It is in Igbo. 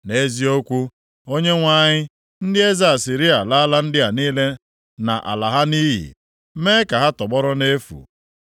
“Nʼeziokwu, Onyenwe anyị, ndị eze Asịrịa alala ndị a niile na ala ha nʼiyi, mee ka ha tọgbọrọ nʼefu,